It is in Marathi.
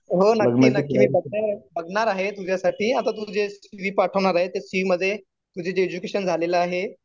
हो नक्की नक्की. मी बघणार आहे तुझ्यासाठी. आता तु तुझं सी वि पाठवणार आहे. सी वि मध्ये तुझं जे एज्युकेशन झालेलं आहे.